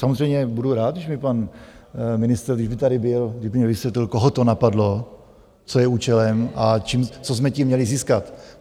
Samozřejmě budu rád, když mi pan ministr, když by tady byl, kdyby mi vysvětlil, koho to napadlo, co je účelem a co jsme tím měli získat.